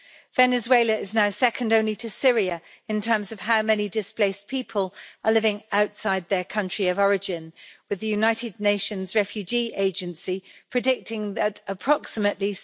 Venezuela is now second only to Syria in terms of how many displaced people are living outside their country of origin, with the United Nations refugee agency predicting that approximately